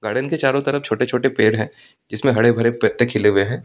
Garden के चारों तरफ छोटे-छोटे पैड हैं जिसमें हरे भरे पत्ते खिले हुए हैं।